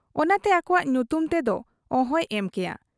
ᱚᱱᱟᱛᱮ ᱟᱠᱚᱣᱟᱜ ᱧᱩᱛᱩᱢ ᱛᱮᱫᱚ ᱚᱦᱚᱭ ᱮᱢ ᱠᱮᱭᱟ ᱾